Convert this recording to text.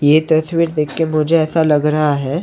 ये तस्वीर देख के मुझे ऐसा लग रहा हैं।